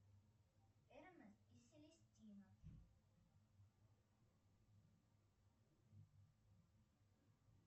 эрнест и селестина